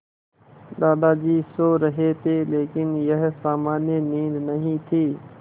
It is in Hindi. दादाजी सो रहे थे लेकिन यह सामान्य नींद नहीं थी